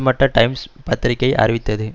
மட்ட டைம்ஸ் பத்திரிகை அறிவித்தது